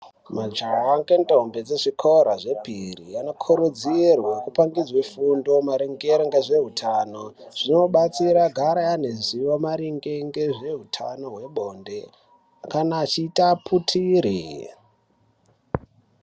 Majaha nendombi vezvikora zvepiri vanokurudzirwe kupangidze fundo maringe ngezveutano, zvinobatsira vagare vaineruzivo maringe ngezveutano hwebonde kana achiita aputire.